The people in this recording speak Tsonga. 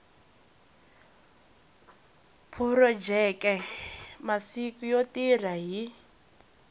phurojeke masiku yo tirha hi